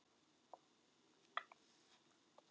Lási er farinn að geyma.